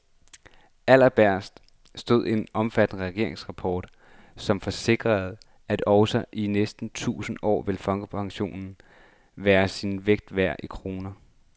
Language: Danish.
Allerbagest stod en omfattende regeringsrapport, som forsikrede, at også i næste årtusinde vil folkepensionen være sin vægt værd i kroner.